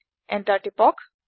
enter টিপক